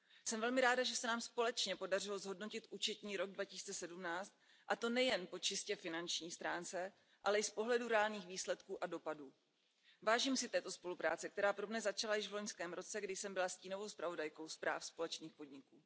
Jsem velmi ráda, že se nám společně podařilo zhodnotit účetní rok 2017, a to nejen po čistě finanční stránce, ale i z pohledu reálných výsledků a dopadů. Vážím si této spolupráce, která pro mne začala již v loňském roce, kdy jsem byla stínovou zpravodajkou zpráv společných podniků.